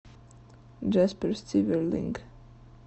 джаспер стиверлинк